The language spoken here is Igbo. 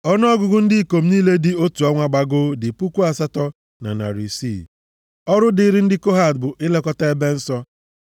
Ọnụọgụgụ ndị ikom niile dị otu ọnwa gbagoo dị puku asatọ na narị isii (8,600). Ọrụ dịrị ndị Kohat bụ ilekọta ebe nsọ.